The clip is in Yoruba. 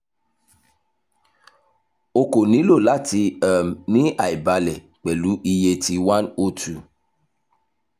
o ko nilo lati um ni aibalẹ pẹlu iye ti one o two